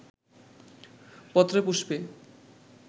পত্রেপুষ্পে